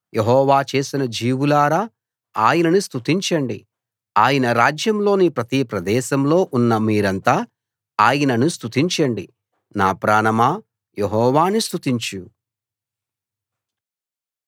యెహోవా చేసిన జీవులారా ఆయనను స్తుతించండి ఆయన రాజ్యంలోని ప్రతి ప్రదేశంలో ఉన్న మీరంతా ఆయనను స్తుతించండి నా ప్రాణమా యెహోవాను స్తుతించు